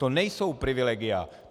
To nejsou privilegia.